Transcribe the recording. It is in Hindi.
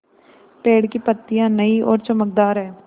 पेड़ की पतियां नई और चमकदार हैँ